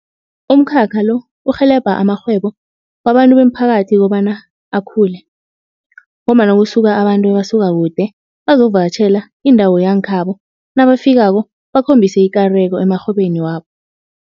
Umkhakha lo urhelebha amarhwebo wabantu bemiphakathi kobana akhule. Ngombana kusuka abantu abasuka kude bazokuvakatjhela indawo yangekhabo nabafikako bakhombise ikareko emarhwebeni wabo.